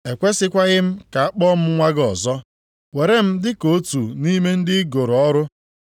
Ekwesikwaghị m ka a kpọọ m nwa gị ọzọ, were m dị ka otu nʼime ndị i goro ọrụ.’